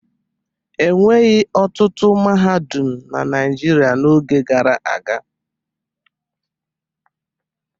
E nweghi ọtụtụ mahadum na Naịjirịa n'oge gara aga.